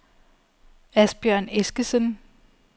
Asbjørn Eskesen